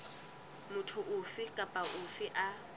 motho ofe kapa ofe a